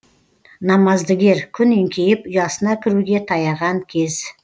намаздыгер күн еңкейіп ұясына кіруге таяған кез